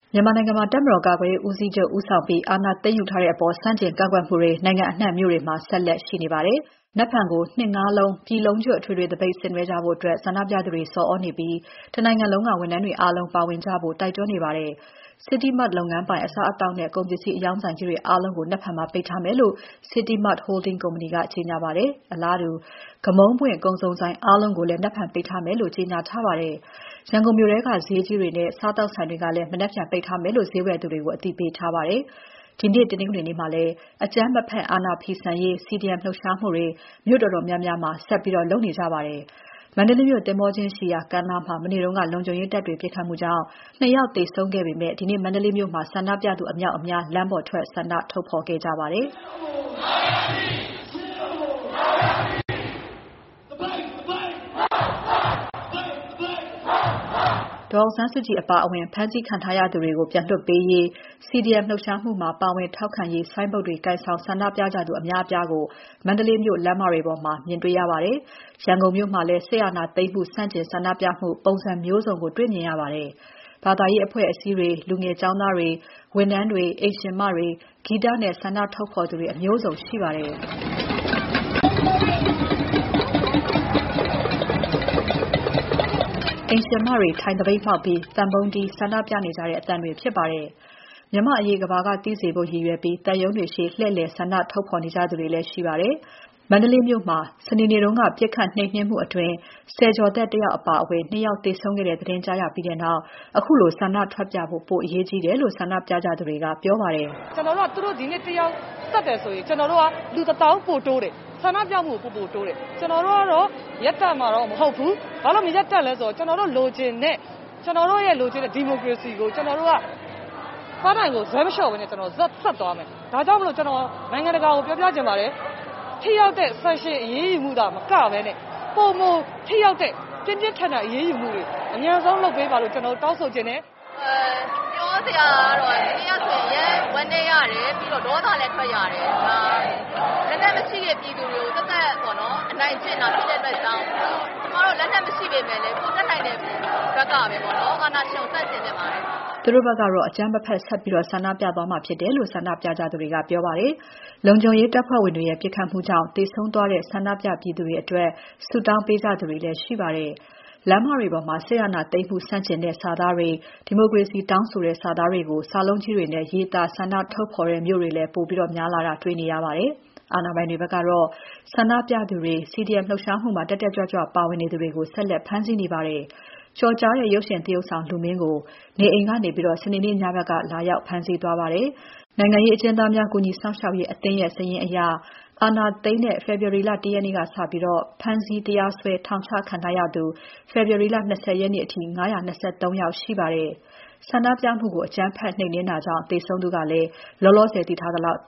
မြန်မာနိုင်ငံမှာ တပ်မတော်ကာကွယ်ရေး ဦးစီးချုပ် ဦးဆောင်ပြီး အာဏာသိမ်းယူထားတဲ့အပေါ် ဆန့်ကျင် ကန့်ကွက်မှုတွေ နိုင်ငံအနှံ့ မြို့တွေမှာ ဆက်လက်ရှိနေပါတယ်။ မနက်ဖြန်ကို ၂ ငါးလုံး ပြည်လုံးကျွတ် အထွေထွေသပိတ်ဆင်နွဲှကြဖို့ ဆန္ဒပြသူတွေ ဆော်သြနေပြီး တနိုင်ငံလုံးက ဝန်ထမ်းတွေအားလုံး ပါဝင်ကြဖို့ တိုက်တွန်းနေပါတယ်။ City Mart လုပ်ငန်းပိုင် အစားအသောက်နဲ့ ကုန်ပစ္စည်းအရောင်းဆိုင်ကြီးတွေအားလုံးကို မနက်ဖြန်မှာ ပိတ်ထားမယ်လို့ City Mart Holding ကုမ္ပဏီက ကြေညာပါတယ်။ အလားတူ ဂမုန်းပွင့်ကုန်စုံဆိုင်အားလုံးကိုလည်း မနက်ဖြန်ပိတ်ထားမယ်လို့ ကြေညာထားပါတယ်။ ရန်ကုန်မြို့ ထဲက ဈေးကြီးတွေနဲ့ စားသောက်ဆိုင်တွေကလည်း မနက်ဖြန်ပိတ်ထားမယ်လို့ ဈေးဝယ်တွေကို အသိပေးထားပါတယ်။ ဒီနေ့ တနင်္ဂနွေနေ့မှာလည်း အကြမ်းမဖက် အာဏာဖီဆန်ရေး CDM လှုပ်ရှားဆန္ဒပြမှုတွေ မြို့တော်တော်များများမှာ ဆက်လုပ်နေကြပါတယ်။ မန္တလေးမြို့ သင်္ဘောကျင်းရှိရာ ကမ်းနားမှာ မနေ့က လုံခြုံရေးတပ်တွေ ပစ်ခတ်မှုကြောင့် နှစ် ယောက်သေဆုံးခဲ့ပေမဲ့ ဒီနေ့ မန္တလေးမြို့မှာ ဆန္ဒပြသူအမြောက်အများ ဒီနေ့ လမ်းပေါ်ထွက် ဆန္ဒထုတ်ဖော်ကြပါတယ်။ "အရေးတော်ပုံ အောင်ရမည်။ အရေးတော်ပုံ အောင်ရမည်။ သပိတ် သပိတ် မှောက် မှောက်။" ဒေါ်အောင်ဆန်းစုကြည်အပါအဝင် ဖမ်းဆီးခံထားရသူတွေကို ပြန်လွှတ်ပေးရေး၊ CDM လှုပ်ရှားမှုမှာ ပါဝင်ထောက်ခံရေးဆိုင်းဘုတ်တွေ ကိုင်ဆောင်ဆန္ဒပြကြသူ အများအပြားကို မန္တလေးမြို့ လမ်းမတွေပေါ်မှာ မြင်ရပါတယ်။ ရန်ကုန်မြို့မှာလည်း စစ်အာဏာသိမ်းမှုဆန့်ကျင် ဆန္ဒပြမှု ပုံစံမျိုးစုံကို တေ့ွမြင်ရပါတယ်။ ဘာသာရေးအဖွဲ့အစည်းတွေ၊ လူငယ်ကျောင်းသားတွေ၊ ဝန်ထမ်းတွေ၊ အိမ်ရှင်မတွေ၊ ဂီတနဲ့ဆန္ဒထုတ်ဖော်သူတွေ အမျိုးစုံရှိပါတယ်။ အိမ်ရှင်မတွေ ထိုင်သပိတ်မှောက်ပြီး သံပုံးတီး ဆန္ဒပြနေကြတဲ့အသံတွေဖြစ်ပါတယ်။ မြန်မာ့အရေးကမ္ဘာသိစေဖို့ ရည်ရွယ်ပြီး သံရုံးတွေရှေ့ လှည့်လည် ဆန္ဒထုတ်ဖော်နေကြသူတွေလည်းရှိပါတယ်။ မန္တလေးမြို့မှာ စနေနေ့က ပစ်ခတ်နှိမ်နင်းမှုအတွင်း ဆယ်ကျော်သက်တယောက်အပါအဝင် နှစ် ယောက်သေဆုံးခဲ့တဲ့ သတင်းကြားရပြီးနောက် ခုလို ဆန္ဒထွက်ပြဖို့ ပိုအရေးကြီးတယ်လို့ ဆန္ဒပြကြသူတွေက ပြောပါတယ်။ "သူတို့ ဒီနေ့တယောက် သတ်တယ်ဆိုရင် ကျနော်တို့က လူ ၁၀,၀၀၀ ပိုတိုးတယ်။ ဆန̔ပြမှုကို ပိုပိုတိုးတယ်။ ကျနော်တို့ကတော့ ရပ်တန့်မှာတော့ မဟုတ်ဘူး။ ဘာလို့ မရပ်တန့်လဲဆိုရင် ကျနော်တို့ လိုချင်တဲ့ ဒီမိုကရေစီကို ကျနော်တို့က ပန်းတိုင်ကို ဇွဲမလျှော့ဘဲနဲ့ ဆက်သွားမယ်။ ဒါကြောင့်မို့လို့ နိုင်ငံတကာကို ပြောပြချင်ပါတယ်။ ထိရောက်တဲ့ sanction အရေးယူမှုသာမကဘဲနဲ့ ပိုမို ထိရောက်တဲ့ ပြင်းပြင်းထန်ထန်အရေးယူမှုတွေ အမြန်ဆုံးလုပ်ပေးပါလို့ ကျနော် တောင်းဆိုချင်တယ်။" သူတို့ဘက်က အကြမ်းမဖက် ဆက်ပြီး ဆန္ဒပြသွားမှာဖြစ်တယ်လို့ ဆန္ဒပြကြသူတွေက ပြောကြပါတယ်။ လုံခြုံရေးတပ်ဖွဲ့ဝင်တွေရဲ့ ပစ်ခတ်မှုကြောင့် သေဆုံးသွားတဲ့ ဆန္ဒပြပြည်သူတွေအတွက် ဆုတောင်းပေးကြသူတွေလည်းရှိပါတယ်။ လမ်းမတွေပေါ်မှာ စစ်အာဏာသိမ်းမှုဆန့်ကျင်တဲ့ စာသားတွေ၊ ဒီမိုကရေစီတောင်းဆိုတဲ့ စာသားတွေကို စာလုံးကြီးတွေနဲ့ ရေးသား ဆန္ဒထုတ်တဲ့ မြို့တွေလည်း ပိုများလာတာ တွေ့နေရပါတယ်။ အာဏာပိုင်တွေဘက်ကတော့ ဆန္ဒပြသူတွေ၊ CDM လှုပ်ရှားမှုမှာ တက်တက်ကြွကြွပါဝင်နေသူတွေကို ဆက်လက်ဖမ်းဆီးနေပါတယ်။ ကျော်ကြားတဲ့ ရုပ်ရှင်သရုပ်ဆောင် လူမင်းကို နေအိမ်ကနေ စနေနေ့ ညဘက်က လာရောက်ဖမ်းဆီးသွားပါတယ်။ နိုင်ငံရေးအကျဉ်းသားများ ကူညီစောင့်ရှောက်ရေးအသင်းရဲ့ စာရင်းအရ အာဏာသိမ်းတဲ့ ဖေဖော်ဝါရီလ ၁ ရက်နေ့ကစပြီး ဖမ်းဆီး၊ တရားစွဲ ထောင်ချခံထားရသူ ဖေဖော်ဝါရီလ ၂၀ ရက်နေ့အထိ ၅၂၃ ယောက်ရှိပါတယ်။ ဆန္ဒပြမှုကို အကြမ်းဖက်နှိမ်နင်းတာကြောင့် လောလောဆယ်သိထားရသလောက်